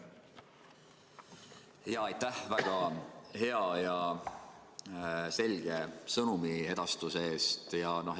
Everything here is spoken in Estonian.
Aitäh väga hea ja selge sõnumiedastuse eest!